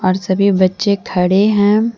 सभी बच्चे खड़े हैं।